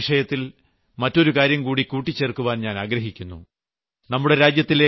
ആരോഗ്യത്തിന്റെ വിഷയത്തിൽ മറ്റൊരു കാര്യംകൂടി കൂട്ടിച്ചേർക്കാൻ ഞാൻ ആഗ്രഹിക്കുന്നു